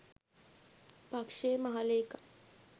පක්ෂයේ මහ ලේකම්